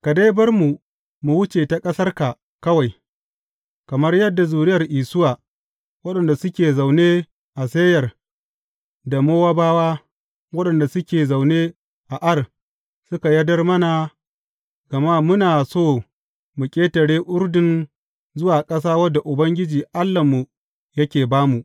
Ka dai bar mu mu wuce ta ƙasarka kawai, kamar yadda zuriyar Isuwa, waɗanda suke zaune a Seyir, da Mowabawa, waɗanda suke zaune a Ar, suka yardar mana, gama muna so mu ƙetare Urdun zuwa ƙasa wadda Ubangiji, Allahnmu yake ba mu.